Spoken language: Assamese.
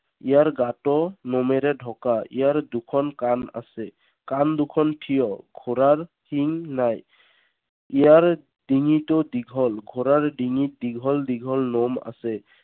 ইয়াৰ গাটো নোমেৰে ঢকা। ইয়াৰ দুখন কাণ আছে। কাণ দুখন থিয়। ঘোঁৰাৰ শিং নাই। ইয়াৰ ডিঙিতো দীঘল। ঘোঁৰাৰ ডিঙিত দীঘল দীঘল নোম আছে।